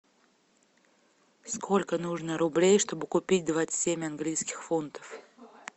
сколько нужно рублей чтобы купить двадцать семь английских фунтов